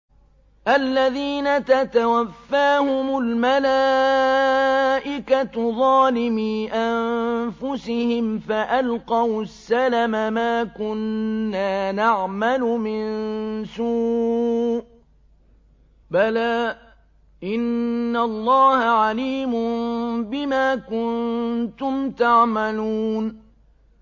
الَّذِينَ تَتَوَفَّاهُمُ الْمَلَائِكَةُ ظَالِمِي أَنفُسِهِمْ ۖ فَأَلْقَوُا السَّلَمَ مَا كُنَّا نَعْمَلُ مِن سُوءٍ ۚ بَلَىٰ إِنَّ اللَّهَ عَلِيمٌ بِمَا كُنتُمْ تَعْمَلُونَ